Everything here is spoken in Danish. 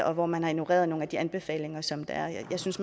og hvor man har ignoreret nogle af de anbefalinger som der er jeg synes